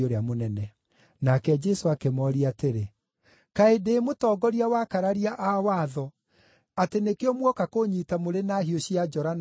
Nake Jesũ akĩmooria atĩrĩ, “Kaĩ ndĩ mũtongoria wa akararia a watho atĩ nĩkĩo muoka kũũnyiita mũrĩ na hiũ cia njora na njũgũma?